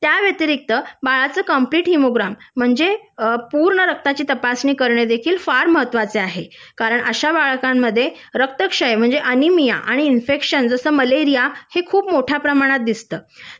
त्या व्यतिरिक्त बाळाचं कम्प्लीट हिमोग्राम जे पूर्ण रक्ताची तपासणी करणे देखील फार महत्त्वाचे आहे कारण अशा बालकांमध्ये रक्तक्षय म्हणजे ॲनिमिया आणि इन्फेक्शन जसे मलेरिया हे खूप मोठ्या प्रमाणात दिसत